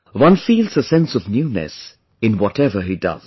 One feels a sense of newness in whatever he does